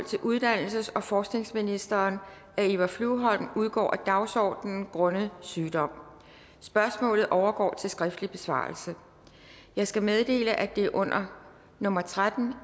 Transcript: til uddannelses og forskningsministeren af eva flyvholm udgår af dagsordenen grundet sygdom spørgsmålet overgår til skriftlig besvarelse jeg skal meddele at det under nummer tretten